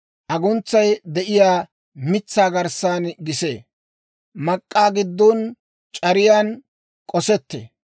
Aguntsay de'iyaa mitsaa garssan gisee; mak'k'aa giddon c'ariyaan k'osettee.